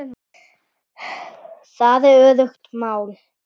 Það er öruggt mál.